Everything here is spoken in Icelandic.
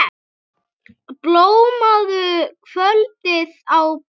Blámóðu kvöldið á byggðir slær.